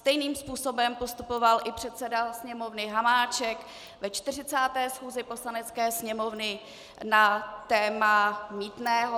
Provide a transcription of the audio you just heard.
Stejným způsobem postupoval i předseda Sněmovny Hamáček ve 40. schůzi Poslanecké sněmovny na téma mýtného.